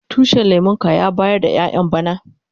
Tushin lemun ka ya bayar da ƴayan bana?